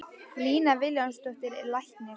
Lína Vilhjálmsdóttir er læknir.